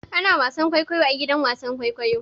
Ana wasan kwaikwayo a gidan wasan kwaikwayo.